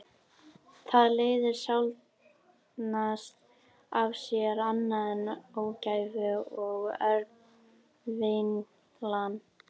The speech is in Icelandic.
Það leiðir sjaldnast af sér annað en ógæfu og örvinglan.